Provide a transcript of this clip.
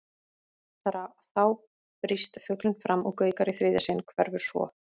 Þá brýst fuglinn fram og gaukar í þriðja sinn, hverfur svo.